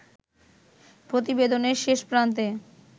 প্রতিবেদনের শেষ প্রান্তে